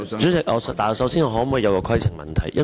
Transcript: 主席，我想先提出規程問題。